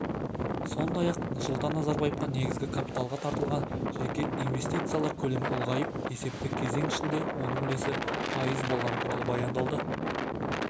сондай-ақ нұрсұлтан назарбаевқа негізгі капиталға тартылған жеке инвестициялар көлемі ұлғайып есепті кезең ішінде оның үлесі пайыз болғаны туралы баяндалды